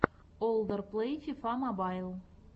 олдер плэй фифа мобайл